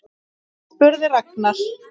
spurði Ragnar.